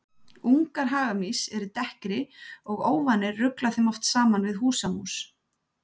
Ungar hagamýs eru dekkri og óvanir rugla þeim oft saman við húsamús.